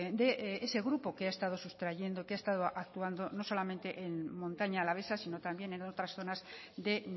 de ese grupo que ha estado sustrayendo que ha estado actuando no solamente en montaña alavesa sino también en otras zonas de